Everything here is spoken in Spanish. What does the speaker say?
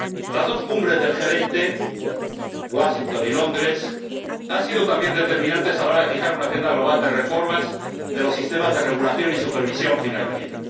Las dos Cumbres del G 20, Washington y Londres, han sido también determinantes a la hora de fijar una agenda global de reformas de los sistemas de regulación y supervisión financiera.